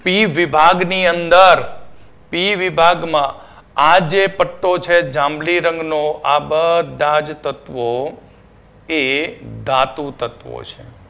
P વિભાગની અંદર P વિભાગમાં આ જે પટ્ટો છે જાંબલી રંગનો આ બધા જ તત્વો એ ધાતુ તત્વો છે.